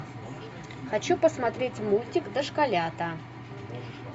хочу посмотреть мультик дошколята